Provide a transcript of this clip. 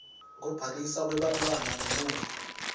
kubhaliswa kwebantfwana ngemuva